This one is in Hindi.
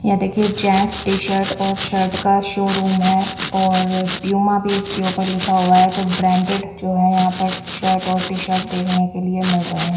यह देखिए जेंट्स टी_शर्ट और शर्ट का शोरूम है और पूमा भी इसके ऊपर लिखा हुआ है तो ब्रांडेड जो है यहाँं पर शर्ट और टी_शर्ट देखने के लिए मिल रही है।